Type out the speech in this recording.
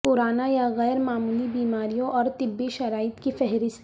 پرانا یا غیر معمولی بیماریوں اور طبی شرائط کی فہرست